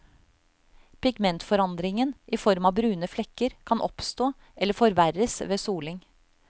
Pigmentforandringen i form av brune flekker kan oppstå eller forverres ved soling.